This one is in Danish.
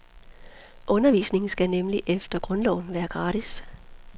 Undervisning skal nemlig efter grundloven være gratis.